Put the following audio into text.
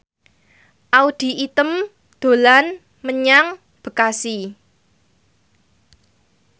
Audy Item dolan menyang Bekasi